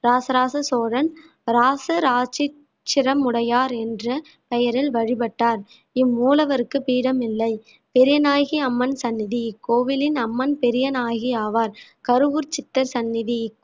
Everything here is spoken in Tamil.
இராசராச சோழன் இராசராசீச்சரமுடையார் என்ற பெயரில் வழிபட்டார் இம்மூலவருக்கு பீடம் இல்லை பெரியநாயகி அம்மன் சன்னதி இக்கோவிலின் அம்மன் பெரியநாயகி ஆவார் கருவூர் சித்தர் சன்னதி